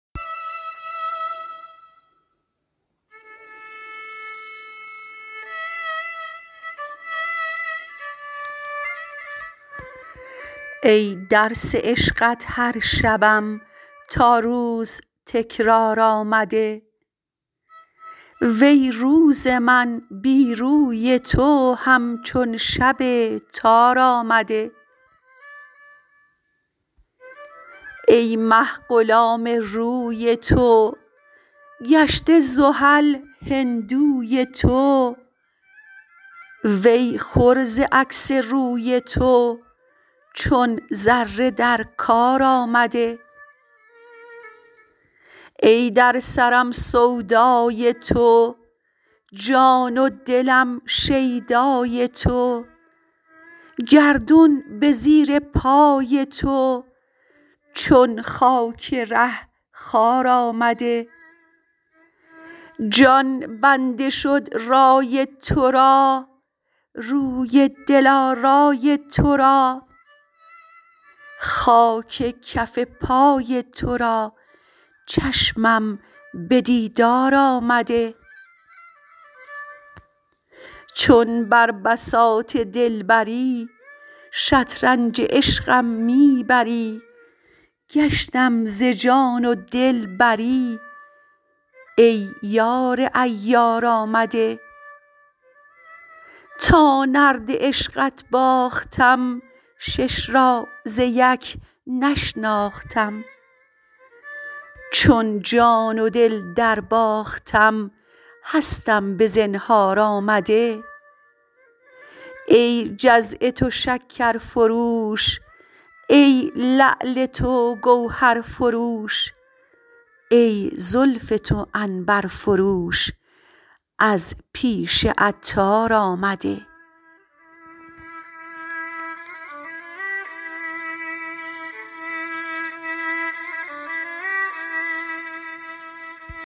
ای درس عشقت هر شبم تا روز تکرار آمده وی روز من بی روی تو همچون شب تار آمده ای مه غلام روی تو گشته زحل هندوی تو وی خور ز عکس روی تو چون ذره در کار آمده ای در سرم سودای تو جان و دلم شیدای تو گردون به زیر پای تو چون خاک ره خوار آمده جان بنده شد رای تورا روی دل آرای تو را خاک کف پای تو را چشمم به دیدار آمده چون بر بساط دلبری شطرنج عشقم می بری گشتم ز جان و دل بری ای یار عیار آمده تا نرد عشقت باختم شش را ز یک نشناختم چون جان و دل درباختم هستم به زنهار آمده ای جزع تو شکر فروش ای لعل تو گوهر فروش ای زلف تو عنبر فروش از پیش عطار آمده